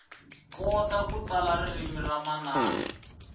kota ku tsala ririmi ra manana